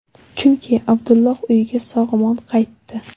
Chunki Abdulloh uyiga sog‘-omon qaytdi.